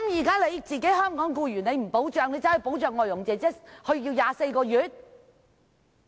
不保障香港僱員，反而要保障外傭，延長時限至24個月？